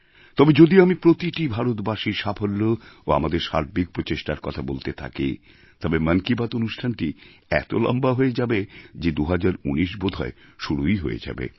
তবে যদি আমি প্রতিটি ভারতবাসীর সাফল্য এবং আমাদের সার্বিক প্রচেষ্টার কথা বলতে থাকি তবে মন কি বাত অনুষ্ঠানটি এত লম্বা হয়ে যাবে যে ২০১৯ বোধহয় শুরুই হয়ে যাবে